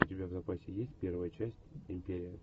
у тебя в запасе есть первая часть империя